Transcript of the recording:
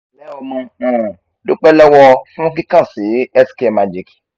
nle omo um dupẹ lọwọ fun ki kan si healthcare magic